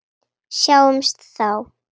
Sjáumst þá!